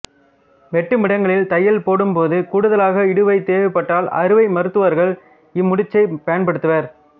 வெட்டுமிடங்களில் தையல் போடும்போது கூடுதலாக இடுவை தேவைப்பட்டால் அறுவை மருத்துவர்கள் இம் முடிச்சைப் பயன்படுத்துவர்